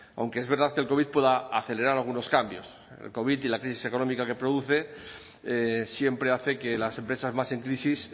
aunque es verdad que el covid pueda acelerar algunos cambios el covid y la crisis económica que produce siempre hace que las empresas más en crisis